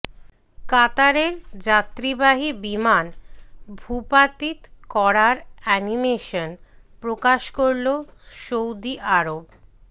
কাতারের যাত্রীবাহী বিমান ভূপাতিত করার অ্যানিমেশন প্রকাশ করল সৌদি আরব